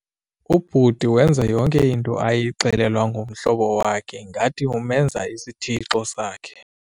Ubhuti wenza yonke into ayixelelwa ngumhlobo wakhe ngathi umenza isithixo sakhe.